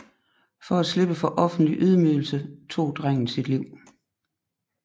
For at slippe for offentlig ydmygelse tog drengen sit liv